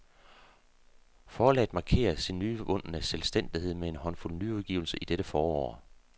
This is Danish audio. Forlaget markerer sin nyvundne selvstændighed med en håndfuld nyudgivelser i dette forår.